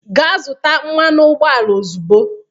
Gaa zụta mmanụ ụgbọala ozugbo!